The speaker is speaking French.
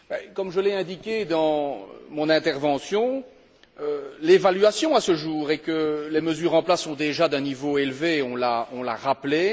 Comme je l'ai indiqué dans mon intervention, l'évaluation, à ce jour, est que les mesures en place sont déjà d'un niveau élevé on l'a rappelé.